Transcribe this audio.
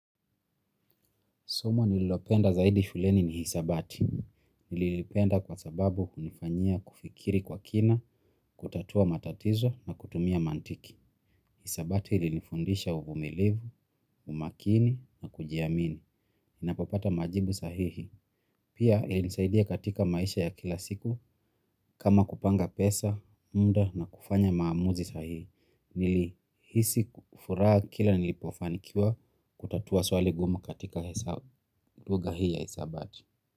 Somo nililopenda zaidi shuleni ni hisabati. Nililipenda kwa sababu unifanyia kufikiri kwa kina, kutatua matatizo na kutumia mantiki. Hisabati ililifundisha uvumilivu, umakini na kujiamini. Inapopata majibu sahihi. Pia ililisaidia katika maisha ya kila siku kama kupanga pesa, muda na kufanya maamuzi sahihi. Nilihisi kufuraha kila nilipofanikiwa kutatua swali gumu katika luga hii ya hisabati. Kwa hivyo.